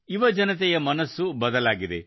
ಯುವಜನತೆಯ ಮನಸ್ಸು ಬದಲಾಗಿದೆ